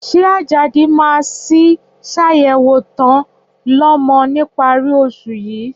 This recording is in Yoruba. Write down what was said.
Ṣé Àjàdí máa sì ṣàyẹ̀wò ta-ń-lọmọ níparí oṣù yìí?